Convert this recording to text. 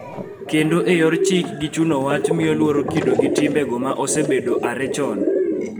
Kendo e yor chik gi chuno wach miyo luor kido gi timbego ma osebedo chakre ae chon